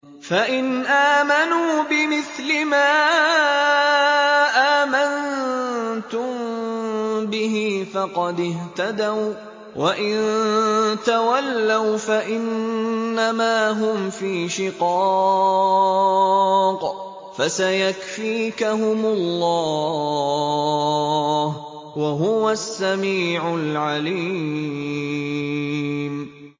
فَإِنْ آمَنُوا بِمِثْلِ مَا آمَنتُم بِهِ فَقَدِ اهْتَدَوا ۖ وَّإِن تَوَلَّوْا فَإِنَّمَا هُمْ فِي شِقَاقٍ ۖ فَسَيَكْفِيكَهُمُ اللَّهُ ۚ وَهُوَ السَّمِيعُ الْعَلِيمُ